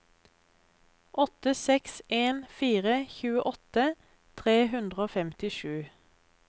åtte seks en fire tjueåtte tre hundre og femtisju